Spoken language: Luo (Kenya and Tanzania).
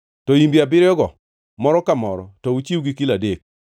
to imbe abiriyogo moro ka moro to chiw gi kilo adek.